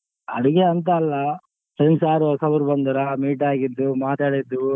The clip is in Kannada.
ಅಡ್ಗೆ ಅಂತ ಅಲ್ಲ friends ಯಾರು ಹೊಸಾ ಊರ್ ಬಂದಾರ meet ಆಗಿದ್ದು ಮಾತಾಡಿದ್ದು.